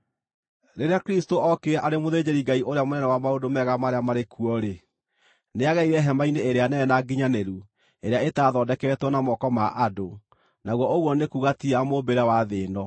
Rĩrĩa Kristũ ookire arĩ mũthĩnjĩri-Ngai ũrĩa mũnene wa maũndũ mega marĩa marĩ kuo-rĩ, nĩagereire hema-inĩ ĩrĩa nene na nginyanĩru ĩrĩa ĩtathondeketwo na moko ma andũ, naguo ũguo nĩ kuuga ti ya mũmbĩre wa thĩ ĩno.